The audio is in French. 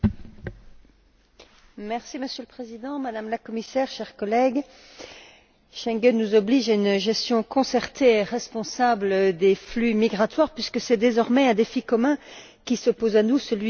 Monsieur le Président, Madame la Commissaire, chers collègues, Schengen nous oblige à une gestion concertée et responsable des flux migratoires puisque c'est désormais un défi commun qui se pose à nous celui du contrôle des frontières extérieures.